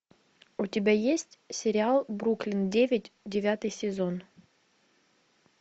у тебя есть сериал бруклин девять девятый сезон